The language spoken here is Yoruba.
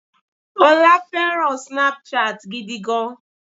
ọ́lá fẹràn Snapchat gidi gan.